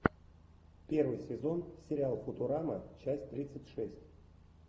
первый сезон сериал футурама часть тридцать шесть